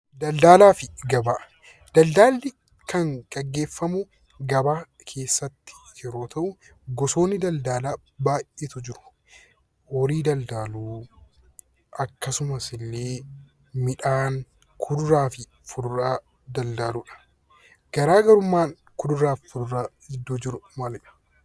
Daldalli kan gaggeeffamu gabaa keessatti yeroo ta'u, gosoonni daldalaa baay'eetu jiru. Horii daldaluu akkasumas illee midhaan, kuduraa fi fuduraa daldaluudha. Garaagarummaan kuduraa fi fuduraa jidduu jiru maalidha?